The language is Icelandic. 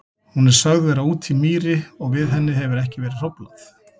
Hún er sögð vera úti í mýri og við henni hefur ekki verið hróflað.